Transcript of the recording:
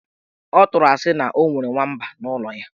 Ọ tụrụ asị na o nwere nwamba n' ụlọ ya.